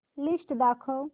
list दाखव